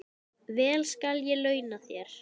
Vel skal ég launa þér.